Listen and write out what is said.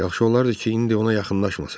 Yaxşı olardı ki, indi ona yaxınlaşmasın.